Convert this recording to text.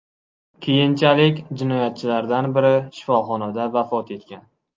Keyinchalik jinoyatchilardan biri shifoxonada vafot etgan.